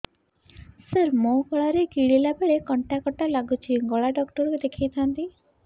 ସାର ମୋ ଗଳା ରେ ଗିଳିଲା ବେଲେ କଣ୍ଟା କଣ୍ଟା ଲାଗୁଛି ଗଳା ଡକ୍ଟର କୁ ଦେଖାଇ ଥାନ୍ତି